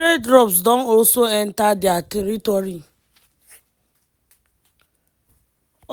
israeli troops don also enta dia territory.